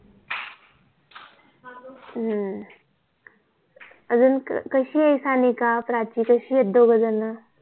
हम्म अजून कशी आहे सानिका प्राची कशी आहे दोघे जण